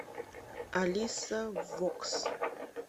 алиса вокс